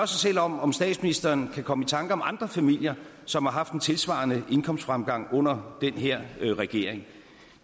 sig selv om om statsministeren kan komme i tanke om andre familier som har haft en tilsvarende indkomstfremgang under den her regering